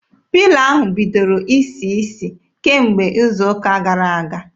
Pilo ahụ bidoro isi isi kemgbe izu ụka gara aga.